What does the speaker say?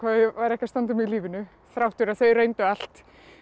væri ekki að standa mig í lífinu þrátt fyrir að þau reyndu allt